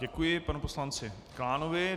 Děkuji panu poslanci Klánovi.